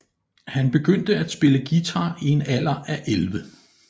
Han begyndte at spille guitar i en alder af 11